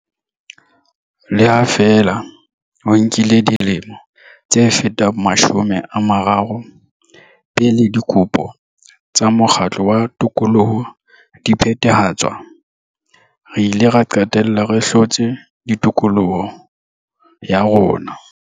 Le ha feela ho nkile dilemo tse fetang mashome a mararo pele dikopo tsa mokgatlo wa tokoloho di phethahatswa, re ile ra qetella re hlotse tokoloho ya rona.